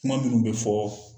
Kuma minnu bɛ fɔɔ